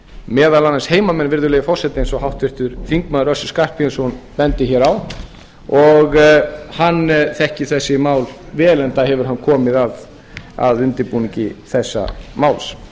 meðal annars heimamenn virðulegi forseti eins og háttvirtur þingmaður össur skarphéðinsson bendir hér á hann þekkir þessi mál vel enda hefur hann komið að undirbúningi þessa máls